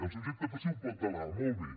el subjecte passiu pot delegar molt bé